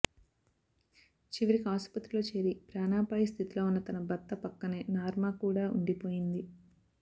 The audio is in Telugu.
చివరికి ఆస్పత్రిలో చేరి ప్రాణాపాయ స్థితిలో ఉన్న తన భర్త పక్కనే నార్మా కూడా ఉండిపోయింది